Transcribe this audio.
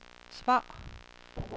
svar